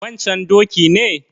wancan doki ne?